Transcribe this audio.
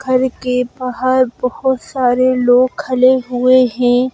घर के बाहर बहुत सारे लोग खड़े हुए हैं।